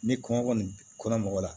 Ni kɔngɔ kɔni kɔnna mɔgɔ la